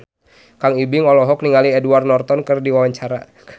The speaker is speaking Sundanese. Kang Ibing olohok ningali Edward Norton keur diwawancara